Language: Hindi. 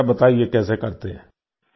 जरा बताइये कैसे करते हैं